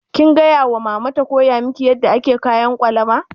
Kin gaya wa mama ta koya miki yadda ake kayan ƙwalama?